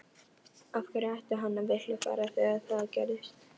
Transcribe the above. Af hverju ætti hann að vilja fara þegar það gerist?